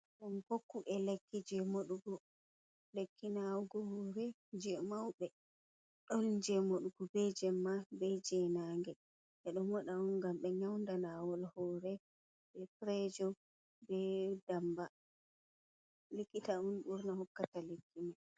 Hokku ɓe ekki jei moɗugo, lekki naawugo hoore jey mawɓe, ɗon jey moɗugo bee jey mawɓe, jey naange, ɓe ɗo moɗa on ngam ɓe nyawnda naawol hoore bee pireejo bee ndammba. Likita on ɓurna hokkata lekki man.